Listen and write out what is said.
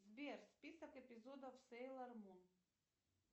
сбер список эпизодов сейлор мун